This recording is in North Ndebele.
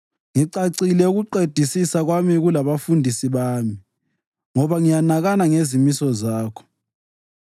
Ngicacile ukuqedisisa kwami kulabafundisi bami, ngoba ngiyanakana ngezimiso zakho.